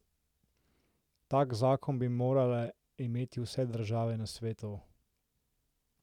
Tak zakon bi morale imeti vse države na svetu.